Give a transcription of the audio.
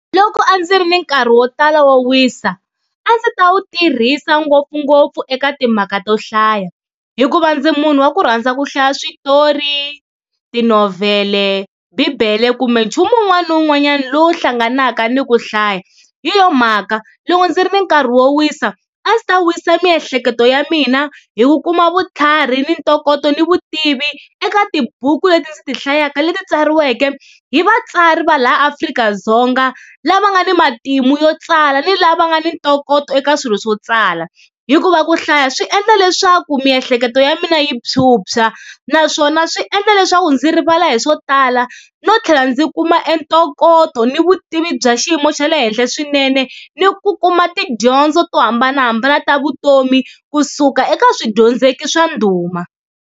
Loko a ndzi ri ni nkarhi wo tala wo wisa, a ndzi ta wu tirhisa ngopfungopfu eka timhaka to hlaya hikuva ndzi munhu wa ku rhandza ku hlaya switori, tinovhele, bibele kumbe nchumu wun'wana na wun'wanyana lowu hlanganaka ni ku hlaya. Hi yona mhaka loko ndzi ri ni nkarhi wo wisa a ndzi ta wisisa miehleketo ya mina hi ku kuma vutlhari ni ntokoto ni vutivi eka tibuku leti ndzi ti hlayaka leti tsariweke hi vatsari va laha Afrika-Dzonga lava nga ni matimu yo tsala ni lava nga ni ntokoto eka swilo swo tsala. Hikuva ku hlaya swi endla leswaku miehleketo ya mina yi phyuphya, naswona swi endla leswaku ndzi rivala hi swo tala no tlhela ndzi kuma entokoto ni vutivi bya xiyimo xa le henhla swinene ni ku kuma tidyondzo to hambanahambana ta vutomi kusuka eka swidyondzeki swa ndhuma.